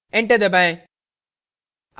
enter दबाएं